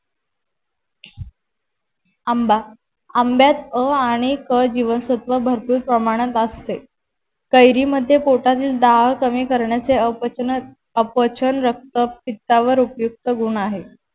आंबा आंब्यात अ आणि क जीवनसत्व भरपूर प्रमाणात असते कैरी मध्ये पोटातील दाल कमी करण्याचे अपचन अपचन रक्त पित्तावर उपयुक्त गुण आहे